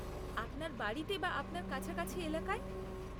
আপনার বাড়িতে বা আপনার কাছাকাছি এলাকায়?